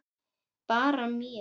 Bara mér.